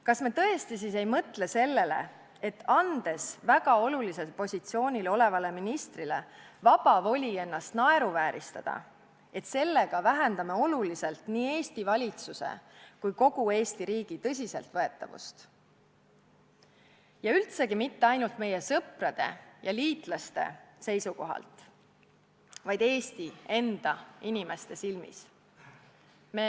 Kas me tõesti siis ei mõtle sellele, et andes väga olulisel positsioonil olevale ministrile vaba voli ennast naeruvääristada, vähendame oluliselt nii Eesti valitsuse kui ka kogu Eesti riigi tõsiseltvõetavust ja seda üldse mitte ainult meie sõprade ja liitlaste silmis, vaid ka Eesti enda inimeste silmis?